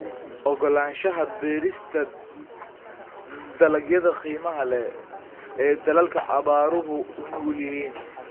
Ogolaanshaha beerista dalagyada qiimaha leh ee dalalka abaaruhu u nugul yihiin.